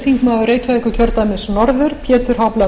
frú forseti ég ætla nú ekki að